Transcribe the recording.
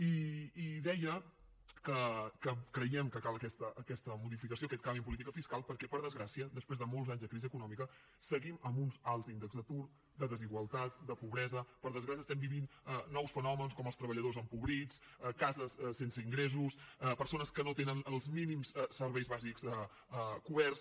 i deia que creiem que cal aquesta modificació aquest canvi en política fiscal perquè per desgràcia després de molts anys de crisi econòmica seguim amb uns alts índexs d’atur de desigualtat de pobresa per desgràcia estem vivint nous fenòmens com els treballadors empobrits cases sense ingressos persones que no tenen els mínims serveis bàsics coberts